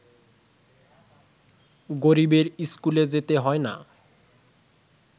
গরিবের ইস্কুলে যেতে হয় না